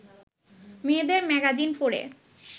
মেয়েদের ম্যাগাজিন পড়ে